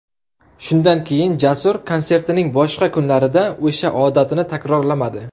Shundan keyin, Jasur konsertining boshqa kunlarida o‘sha odatini takrorlamadi.